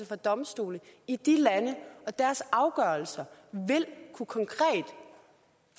fra domstole i de lande og deres afgørelser vil kunne